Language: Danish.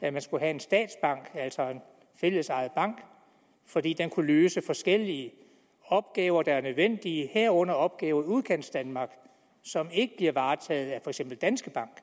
at man skulle have en statsbank altså en fællesejet bank fordi den kunne løse forskellige opgaver der er nødvendige herunder opgaven udkantsdanmark som ikke bliver varetaget af for eksempel danske bank